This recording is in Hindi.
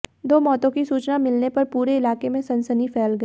दो मौतों की सूचना मिलने पर पूरे इलाके में सनसनी फैल गई